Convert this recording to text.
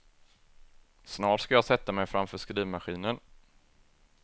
Snart ska jag sätta mig framför skrivmaskinen.